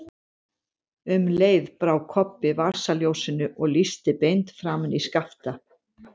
Um leið brá Kobbi upp vasaljósinu og lýsti beint framan í Skapta.